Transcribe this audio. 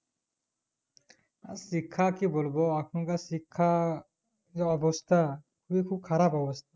আর শিক্ষা কি বলবো এখন কার শিক্ষা যা অবস্থা খুবই খুব খারাপ অবস্থা